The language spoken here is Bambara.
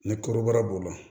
Ni kɔrɔbɔrɔ b'o la